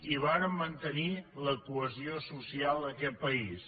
i vàrem mantenir la cohesió social d’aquest país